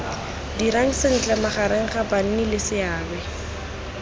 dirang sentle magareng ga bannileseabe